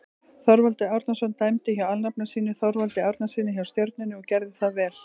Þorvaldur Árnason dæmdi hjá alnafna sínum Þorvaldi Árnasyni hjá Stjörnunni og gerði það vel.